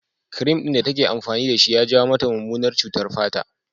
Kirim ɗin da take amfani da shi ya jawo mata mummunar cutar fata